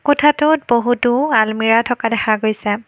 কোঠাটোত বহুতো আলমিৰাহ থকা দেখা গৈছে।